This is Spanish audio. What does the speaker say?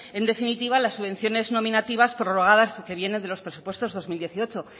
en definitiva las subvenciones nominativas prorrogadas que vienen de los presupuestos dos mil dieciocho